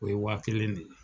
O ye waa kelen de ye